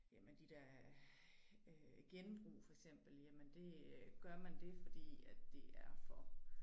Jamen de der øh genbrug for eksemepel jamen det øh gør man det fordi at det er for